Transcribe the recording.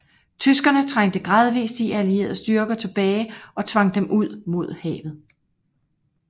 Tyskerne trængte gradvis de allierede styrker tilbage og tvang dem ud mod havet